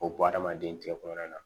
O b adamaden tɛgɛ kɔnɔna na